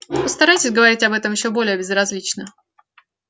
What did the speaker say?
постарайтесь говорить об этом ещё более безразлично